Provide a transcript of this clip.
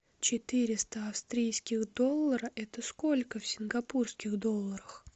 четыреста австрийских доллара это сколько в сингапурских долларах